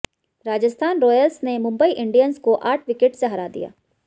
Rajasthan Royals ने Mumbai Indians को आठ विकेट से हरा दिया